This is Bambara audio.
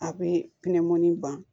A bɛ pinɛmɔnni ban